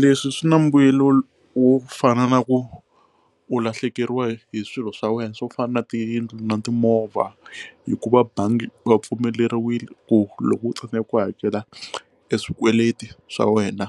Leswi swi na mbuyelo wo fana na ku u lahlekeriwa hi swilo swa wena swo fana na tiyindlu na timovha hikuva bangi wa pfumeleriwile ku loko u tsandzeka ku hakela swikweleti swa wena